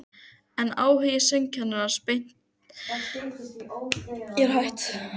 Hún virtist rata um hvert skúmaskot mannlegrar tilveru í bænum.